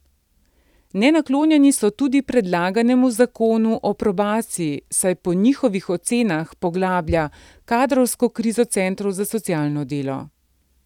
Nenaklonjeni so tudi predlaganemu zakonu o probaciji, saj po njihovih ocenah poglablja kadrovsko krizo centrov za socialno delo.